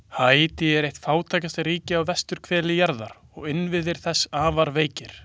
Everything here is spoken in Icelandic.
Haítí er eitt fátækasta ríki á vesturhveli jarðar og innviðir þess afar veikir.